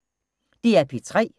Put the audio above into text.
DR P3